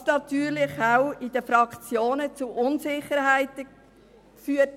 Das hat natürlich auch in den Fraktionen zu Unsicherheiten geführt.